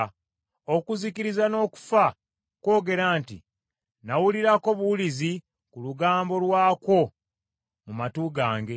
Okuzikiriza n’Okufa kwogera nti, ‘Nawulirako buwulizi ku lugambo lwakwo mu matu gange.’